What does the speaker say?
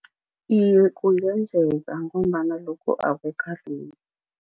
Iye, kungenzeka ngombana lokhu